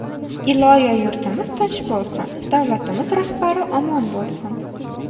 Iloyo, yurtimiz tinch bo‘lsin, davlatimiz rahbari omon bo‘lsin.